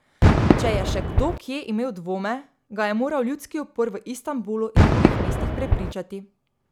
Če je še kdo kje imel dvome, ga je moral ljudski upor v Istanbulu in drugih mestih prepričati.